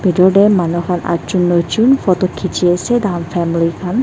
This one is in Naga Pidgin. pitor te manu khan atjon noijon photo khiche ase tai khan family khan.